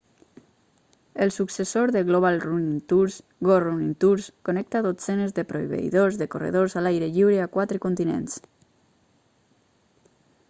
el successor de global running tours go running tours connecta dotzenes de proveïdors de corredors a l'aire lliure a quatre continents